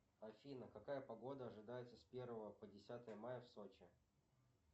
афина какая погода ожидается с первого по десятое мая в сочи